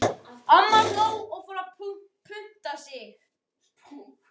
Amma hló og fór að punta sig.